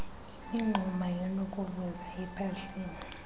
imingxuma enokuvuza ephahleni